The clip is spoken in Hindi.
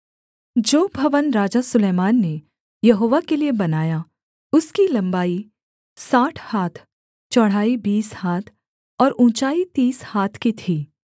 जो भवन राजा सुलैमान ने यहोवा के लिये बनाया उसकी लम्बाई साठ हाथ चौड़ाई बीस हाथ और ऊँचाई तीस हाथ की थी